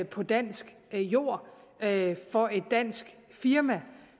på dansk jord for et dansk firma